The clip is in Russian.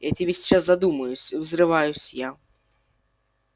я тебе сейчас задумаюсь взрываюсь я